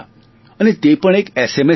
અને તે પણ એક એસએમએસ પર